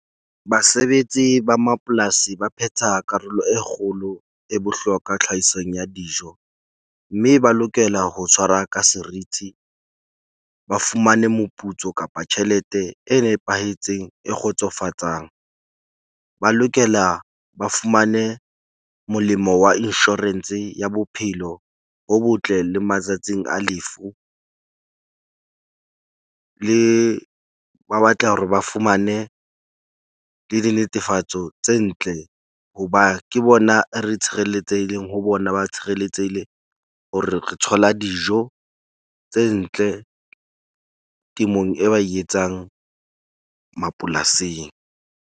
Basebetsi ba mapolasi ba phetha karolo e kgolo e bohlokwa tlhahisong ya dijo. Mme ba lokela ho tshwara ka seriti ba fumane moputso kapa tjhelete e nepahetseng e kgotsofatsang, ba lokela ba fumane molemo wa insurance ya bophelo bo botle, le matsatsing a lefu. Le ba batla hore ba fumane le dinetefatso tse ntle, hoba ke bona re tshireletsehileng ho bona. Ba tshireletsehile hore re thola dijo tse ntle temong, e ba e etsang mapolasing.